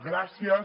gràcies